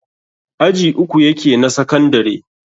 aji uku yake na sakandare